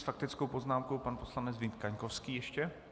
S faktickou poznámkou pan poslanec Vít Kaňkovský ještě.